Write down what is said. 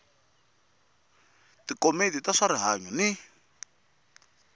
tikomiti ta swa rihanyu ni